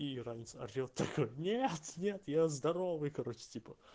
и иранец орет такой нет-нет я здоровый короче типа